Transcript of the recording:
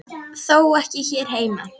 Þó ekki hér heima.